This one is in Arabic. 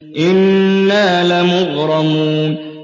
إِنَّا لَمُغْرَمُونَ